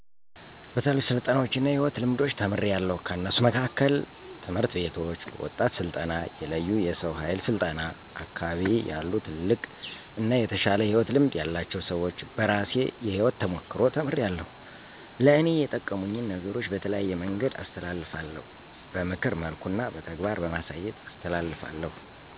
በተለያዩ ስልጠናዎች እና የሕይወት ልምዶች ተምሪያለዉ። ከነሱ መካከል፦ ትምህርት ቤቶች፣ በወጣቶች ስልጠና፣ የለዩ የሰው ሀይል ስልጠና፣ አካቢየ ያሉትልልቅ አና የተሻለ የሕይወት ልምድ ያላቸው ሰወች፣ በራሴ የሕይወት ተሞክሮ ተምሪያለዉ። ለእኔ የጠቀሙኝን ነገሮች በተለያየ መንገድ አስተላልፋለዉ። በምክር መልኩ እና በተግባር በማሳየት አስተላሰፋለዉ